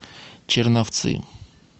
черновцы